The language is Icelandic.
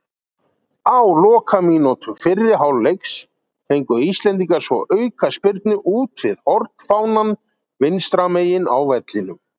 Á lokamínútu fyrri hálfleiks fengu íslendingar svo aukaspyrnu úti við hornfánann vinstra megin á vellinum.